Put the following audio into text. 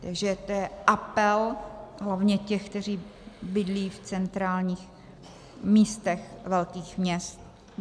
Takže to je apel hlavně těch, kteří bydlí v centrálních místech velkých měst.